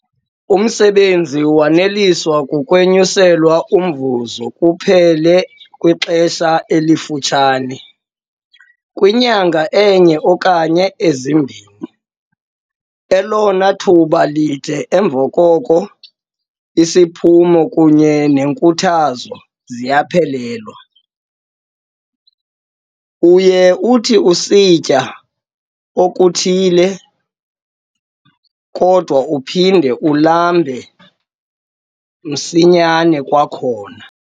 Umsebenzi waneliswa kukwenyuselwa umvuzo kuphela kwixesha elifutshane - kwinyanga enye okanye ezimbini - elona thuba lide, emva koko isiphumo kunye nenkuthazo ziyaphelelwa. Uye uthi usitya okuthile, kodwa uphinde ulambe msinyane kwakhona.